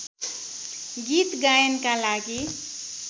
गीत गायनका लागि